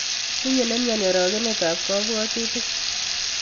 Tinye nemioni orokenet ab kobwotutik.